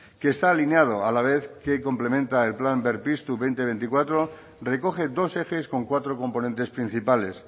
que está alineado la vez que complementa el plan berpiztu dos mil veinticuatro recoge dos ejes con cuatro componentes principales